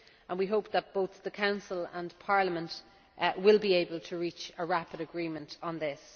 We hope that both the Council and Parliament will be able to reach a rapid agreement on this.